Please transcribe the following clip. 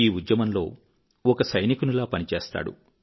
ఈ ఉద్యమంలో ఒక సైనికునిలా పనిచేస్తాడు